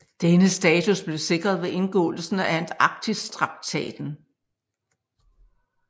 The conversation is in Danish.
Denne status blev sikret ved indgåelsen af Antarktistraktaten